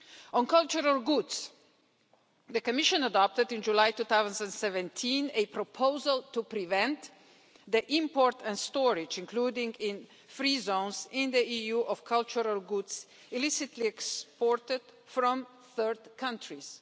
On cultural goods, the Commission adopted in July 2017 a proposal to prevent the import and storage, including in free zones, in the EU of cultural goods illicitly exported from third countries.